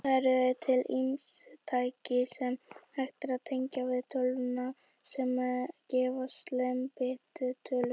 Það eru til ýmis tæki, sem hægt er að tengja við tölvuna, sem gefa slembitölur.